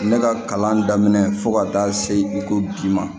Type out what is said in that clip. Ne ka kalan daminɛ fo ka taa se bi ma